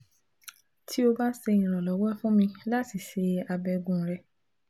Ti o ba ṣe iranlọwọ fun mi lati ṣe abẹgun rẹ